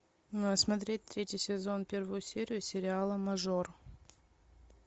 смотреть третий сезон первую серию сериала мажор